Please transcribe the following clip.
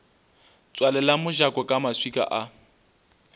tswalela mojako ka maswika a